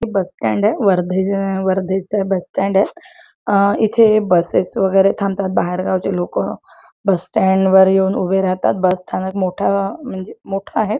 हे बस स्टँडय वर्धेच वर्धेच बस स्टँडय इथे बसेस वेगेरे थांबतात बाहेर गावचे लोक बस स्टँड वर येऊन उभे राहतात बस स्थानक मोठ म्हणजे मोठ आहे.